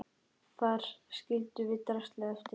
Þar skildum við draslið eftir.